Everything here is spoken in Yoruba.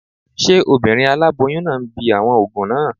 Ṣé obìnrin aláboyún náà ń bi àwọn òògùn náà?